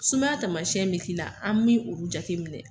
Sumaya taamasiɲɛn bi k'i la an bi olu jateminɛ.